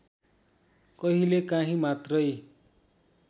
कहिलेकाही मात्रै